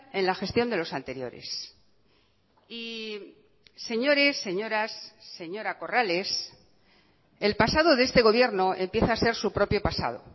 en la gestión de los anteriores y señores señoras señora corrales el pasado de este gobierno empieza a ser su propio pasado